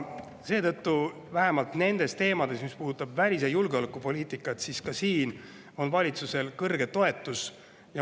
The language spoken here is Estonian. Seetõttu vähemalt nendes teemades, mis puudutavad välis- ja julgeolekupoliitikat, on valitsusel kõrge toetus.